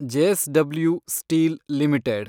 JSW steel limited